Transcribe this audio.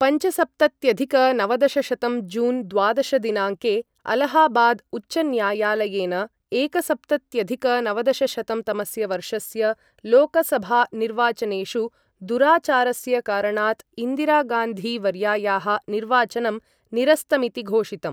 पञ्चसप्तत्यधिक नवदशशतं जून् द्वादश दिनाङ्के अलाहाबाद् उच्चन्यायालयेन, एकसप्तत्यधिक नवदशशतं तमस्य वर्षस्य लोकसभा निर्वाचनेषु दुराचारस्य कारणात् इन्दिरागान्धी वर्यायाः निर्वाचनं निरस्तमिति घोषितम्।